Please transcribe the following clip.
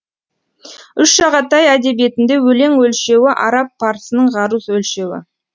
үш шағатай әдебиетінде өлең өлшеуі араб парсының ғаруз өлшеуі